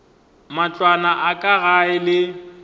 matlwana a ka gae ke